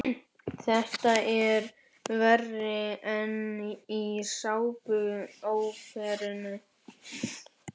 Þetta er verra en í sápuóperum.